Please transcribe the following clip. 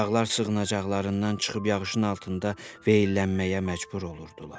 Uşaqlar sığınacaqlarından çıxıb yağışın altında veillənməyə məcbur olurdular.